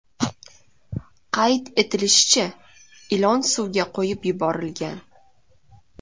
Qayd etilishicha, ilon suvga qo‘yib yuborilgan.